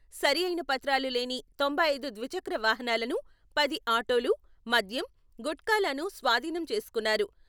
సరియైన పత్రాలు లేని తొంభై ఐదు ద్విచక్ర వాహనాలను, పది ఆటోలు, మద్యం, గుట్కాలను స్వాధీనం చేసుకున్నారు.